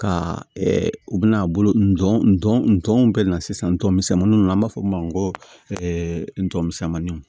Ka u bɛna a bolo nɔn n dɔn ntɔn bɛ na sisan n tɔnɔ misɛnninw na an b'a fɔ o ma ko ntɔmisɛnniw